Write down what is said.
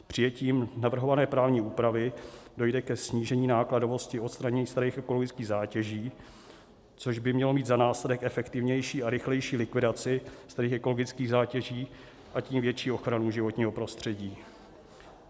Přijetím navrhované právní úpravy dojde ke snížení nákladovosti odstranění starých ekologických zátěží, což by mělo mít za následek efektivnější a rychlejší likvidaci starých ekologických zátěží, a tím větší ochranu životního prostředí.